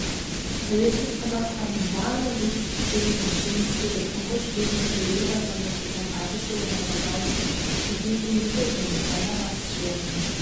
тәуелсіз қазақстанның барлық жетістіктері мен жеңістері тұңғыш президенті елбасы нұрсұлтан әбішұлы назарбаевтың тегеурінді және дана басшылығымен